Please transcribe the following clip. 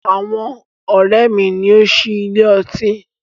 Àwọn ọ̀rẹ́ mi ni ó ń sí ilé ọtí.